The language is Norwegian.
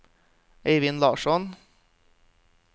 Eivind Larsson